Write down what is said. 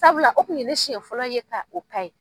Sabula o tun ye ne siɲɛ fɔlɔ ye ka o ye.